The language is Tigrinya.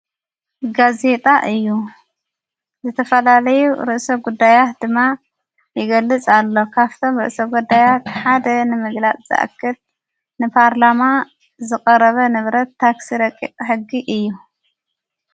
ጋዜጣ እዩ ዝተፈላለዩ ርእሰ ጕዳያት ድማ ይገሊፅ ኣሎ ።ካብቶም ርእሰ ጐዳያት ሓደ ንምግላጽ ዝኣክል ንፓርላማ ዝቐረበ ንብረት ታክሲ ረቕቕ ሕጊ እዩ።